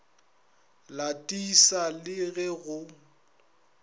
la tissa le ge go